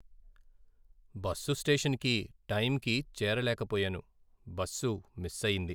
Bus స్టేషన్కి టైంకి చేరలేక పోయాను, బస్సు మిస్ అయింది.